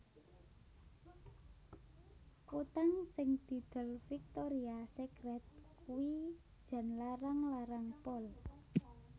Kutang sing didol Victoria Secret kuwi jan larang larang pol